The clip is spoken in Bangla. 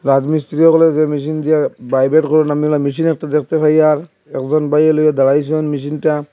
রাজমিস্ত্রি হগলে যে মেশিন দিয়া ভাইব্রেট করেন আপনারা মেশিনের তো দেখতে পাই আর একজন বাইরে লয়ে দাঁড়াইসে ওই মেশিনটা।